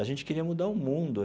A gente queria mudar o mundo.